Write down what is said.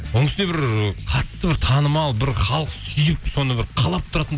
оның үстіне бір ы қатты бір танымал бір халық сүйіп соны бір қалап тұратын